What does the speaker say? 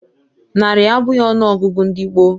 Narị abụghị ọnụọgụ ndị gboo